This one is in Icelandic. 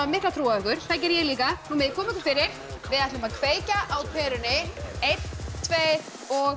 mikla trú á ykkur það geri ég líka megið koma ykkur fyrir við ætlum að kveikja á perunni einn tveir og